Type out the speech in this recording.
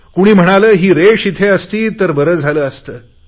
कुणी म्हणाले ही रेष इथे असती तर बरे झाले असते